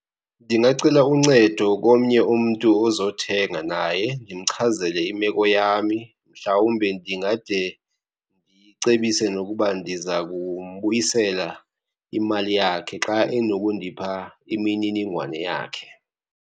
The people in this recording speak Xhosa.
Ndingacela uncedo komnye umntu ozothenga naye ndimchazele imeko yami. Mhlawumbe ndingade ndicebise nokuba ndiza kumbuyisela imali yakhe xa enokundipha imininingwane yakhe.